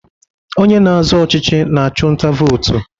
Onye na-azọ ọchịchị na-achụ nta vootu.